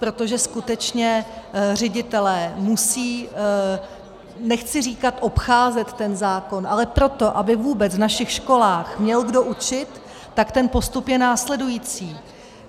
Protože skutečně ředitelé musí, nechci říkat obcházet ten zákon, ale proto, aby vůbec v našich školách měl kdo učit, tak ten postup je následující.